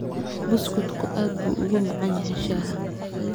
Buskutku aad buu ugu macaan yahay shaaha.